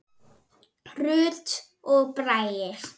Rut og Bragi.